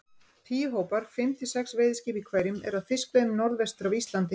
Tíu hópar, fimm til sex veiðiskip í hverjum, eru að fiskveiðum norðvestur af Íslandi.